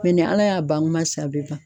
Ɔ ni ala y'a ban kuma sa a bɛɛ ban.